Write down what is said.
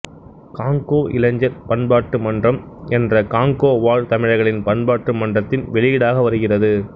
Congo இளைஞர் பண்பாட்டு மன்றம் என்ற காங்கோ வாழ் தமிழர்களின் பண்பாட்டு மன்றத்தின் வெளியீடாக வருகிறது